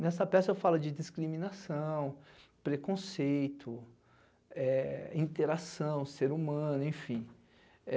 Nesta peça falo de discriminação, preconceito, interação, ser humano, enfim.